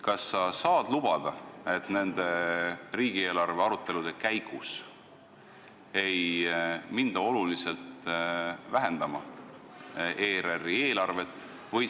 Kas sa saad lubada, et riigieelarve arutelude käigus ei hakata oluliselt vähendama ERR-i eelarvet?